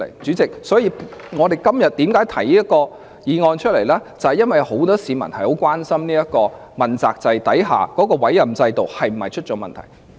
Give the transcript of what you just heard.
主席，為何我今天要提出這項議案，就是由於很多市民也很關心在問責制下的委任制度是否出了問題。